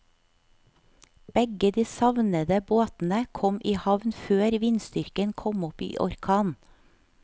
Begge de savnede båtene kom i havn før vindstyrken kom opp i orkan.